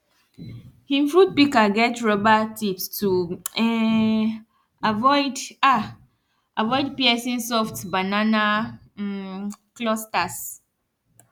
him fruit pika get rubber tips to um avoid um avoid piercing soft banana um clusters